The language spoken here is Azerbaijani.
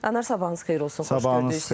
Anar, sabahınız xeyir olsun, xoş gördük sizi.